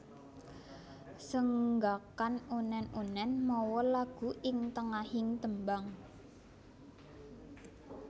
Senggakan unèn unèn mawa lagu ing tengahing tembang